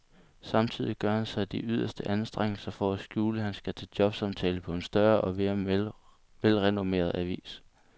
Samtidig gør han sig de yderste anstrengelser for at skjule, at han skal til jobsamtale på en større og mere velrenommeret avis.